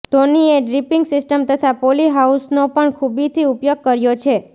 ધોનીએ dripping system તથા poly હાઉસનો પણ ખૂબીથી ઉપયોગ કર્યો છે